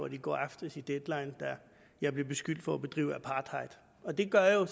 i går aftes i deadline da jeg blev beskyldt for at udøve apartheid og det gør jo